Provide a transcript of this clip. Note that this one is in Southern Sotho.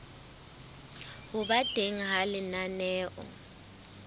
ho ba teng ha lenaneo